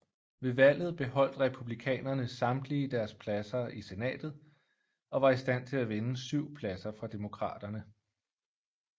Ved valget beholdt Republikanerne samtlige deres pladser i Senatet og var i stand til at vinde 7 pladser fra Demokraterne